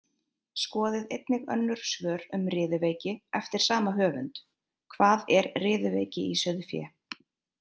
Skoðið einnig önnur svör um riðuveiki eftir sama höfund: Hvað er riðuveiki í sauðfé?